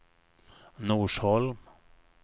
Norsholm